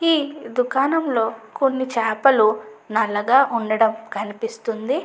ఈ దుకనంలో కొన్ని చాపలు నల్లగా ఉండటం కనిపిస్తుంది.